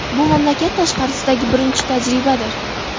Bu mamlakat tashqarisidagi birinchi tajribadir.